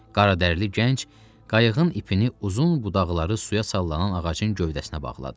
Qaradərili gənc qayığın ipini uzun budaqları suya sallanan ağacın gövdəsinə bağladı.